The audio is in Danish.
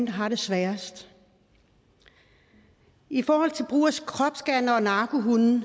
har det sværest i forhold til brug af kropsscannere og narkohunde